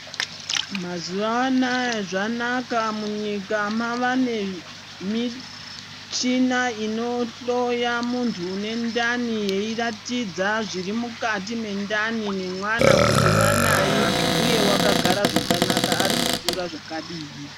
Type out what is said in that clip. Mazuva anaya zvanaka munyika mava nemichina inohloya muntu unendani eiratidza zviri mukati mendani nemwana kuti mwanai, uye vakagara zvakanaka ari kukura zvakadini.